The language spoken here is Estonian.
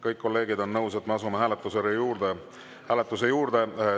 Kõik kolleegid on nõus, et me asume hääletuse juurde.